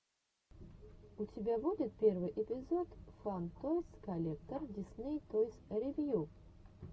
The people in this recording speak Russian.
у тебя будет первый эпизод фан тойс коллектор дисней тойс ревью